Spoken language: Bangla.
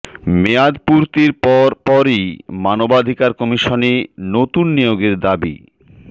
মেয়াদ পূর্তির পর পরই মানবাধিকার কমিশনে নতুন নিয়োগের দাবি